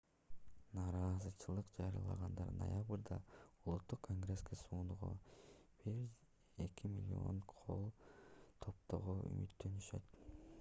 нааразычылык жарыялагандар ноябрда улуттук конгресске сунууга 1,2 миллион кол топтоого үмүттөнүшөт